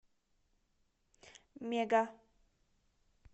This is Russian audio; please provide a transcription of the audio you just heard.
мега